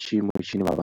tshiimo tshine vhavha.